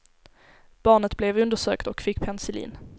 Barnet blev undersökt och fick penicillin.